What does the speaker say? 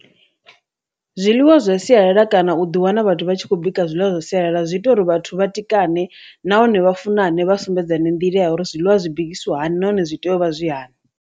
Zwiḽiwa zwa sialala kana u ḓi wana vhathu vha tshi khou bika zwiḽiwa zwa sialala zwi ita uri vhathu vhatikane nahone vha funane vha sumbedzani nḓila ya uri zwiḽiwa zwi bikisiwa hani nahone zwi tea u vha zwi hani.